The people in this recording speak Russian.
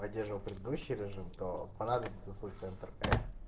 поддерживал предыдущий режим то понадобится соц центр